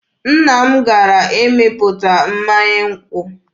Nna m gara ịmịpụta mmanya nkwụ.